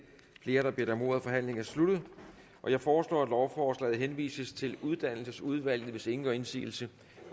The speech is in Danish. flere der har bedt om ordet og forhandlingen er sluttet jeg foreslår at lovforslaget henvises til uddannelsesudvalget hvis ingen gør indsigelse